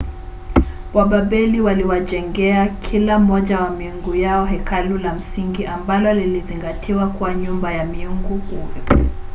wababeli waliwajengea kila mmoja wa miungu yao hekalu la msingi ambalo lilizingatiwa kuwa nyumba ya mungu huyo